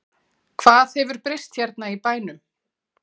Hvað hefur breyst hérna í bænum?